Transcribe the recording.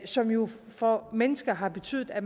som jo for mennesker har betydet at